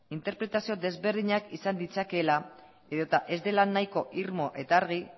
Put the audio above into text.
interpretazio desberdinak izan ditzakeela edota ez dela nahiko irmo eta argi